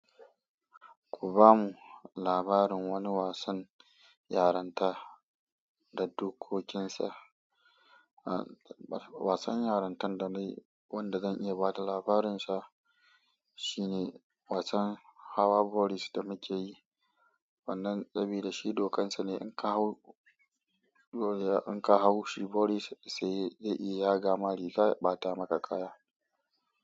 Ku ba mu labarin wani wasan yaranta da dokokinsa. Wasan yarintan da na yi wanda zan iya ba da labarinsa shine wasan Hawa Boris da muke yi. Wannan sabida da shi dokansa ne in ka hau, in ka hau shi Boris sai dai ya gama rigar ya ɓata maka kaya.